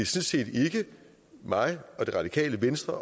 set ikke mig eller det radikale venstre